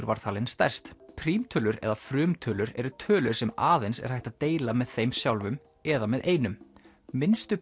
var talin stærst prímtölur eða frumtölur eru tölur sem aðeins er hægt að deila með þeim sjálfum eða með einum minnstu